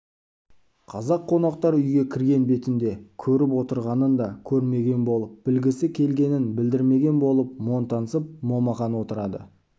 қазақ қонақтар үйге кірген бетінде көріп отырғанын да көрмеген болып білгісі келгенін білдірмеген болып монтансып момақан отырады